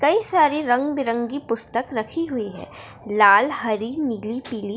कई सारी रंग-बिरंगी पुस्तक रखी हुई है लाल हरी नीली पिली।